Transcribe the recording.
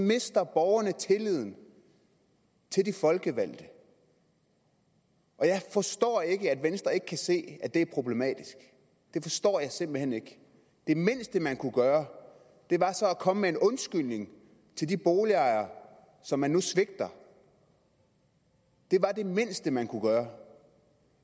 mister borgerne tilliden til de folkevalgte og jeg forstår ikke at venstre ikke kan se at det er problematisk det forstår jeg simpelt hen ikke det mindste man kunne gøre var så at komme med en undskyldning til de boligejere som man nu svigter det var det mindste man kunne gøre